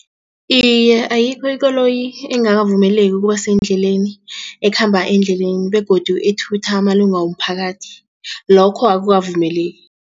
Iye, ayikho ikoloyi engakavumeleki ukubasendleleni ekhamba endleleni begodu ethutha amalunga womphakathi lokho akukavumeleki.